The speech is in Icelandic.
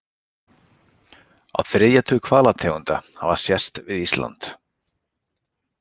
Á þriðja tug hvalategunda hafa sést við Ísland.